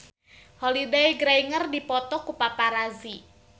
Holliday Grainger dipoto ku paparazi